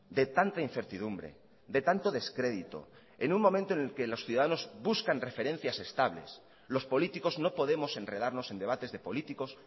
de tanta incertidumbre de tanto descrédito en un momento en el que los ciudadanos buscan referencias estables los políticos no podemos enredarnos en debates de políticos